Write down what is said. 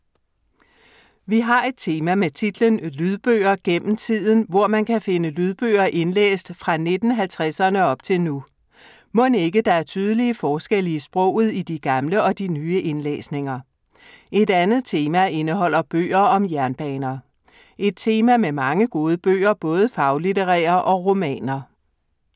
Vi har et tema med titlen Lydbøger gennem tiden, hvor man kan finde lydbøger indlæst fra 1950'erne og op til nu. Mon ikke der er tydelige forskelle i sproget i de gamle og nye indlæsninger? Et andet tema indeholder bøger om jernbaner. Et tema med mange gode bøger, både faglitterære og romaner.